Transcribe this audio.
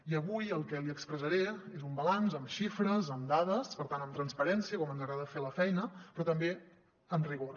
i avui el que li expressaré és un balanç amb xifres amb dades per tant amb transparència com ens agrada fer la feina però també amb rigor